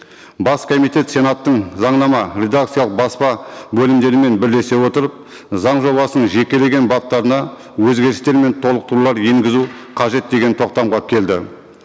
бас комитет сенаттың заңнама редакциялық баспа бөлімдерімен бірлесе отырып заң жобасының жекелеген баптарына өзгерістер мен толықтырулар енгізу қажет деген тоқтамға келді